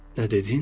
Nə dedin?